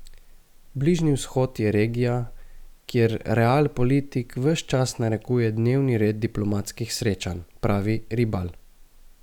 Bližnji vzhod je regija, kjer realpolitik ves čas narekuje dnevni red diplomatskih srečanj, pravi Ribal.